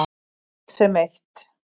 Öll sem eitt.